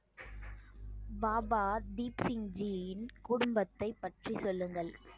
பாபா தீப் சிங் ஜியின் குடும்பத்தை பற்றி சொல்லுங்கள்